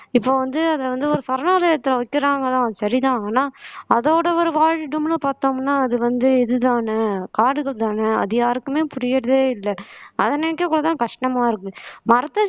இப்ப வந்து அத வந்து ஒரு சரணாலயத்துல வைக்கிறாங்களாம் சரிதான் ஆனா அதோட ஒரு வாழிடம்ன்னு பாத்தோம்னா அது வந்து இதுதானே காடுகள்தானே அது யாருக்குமே புரியறதே இல்ல அத நினைக்க கூட தான் கஷ்டமா இருக்கு மரத்த